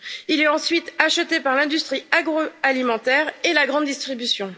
Il est ensuite acheté par l'industrie agro alimentaire et la grande distribution.